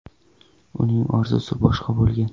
Uning orzusi boshqa bo‘lgan.